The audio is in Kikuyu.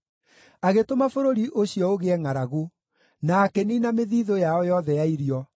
Agĩtũma bũrũri ũcio ũgĩe ngʼaragu, na akĩniina mĩthiithũ yao yothe ya irio;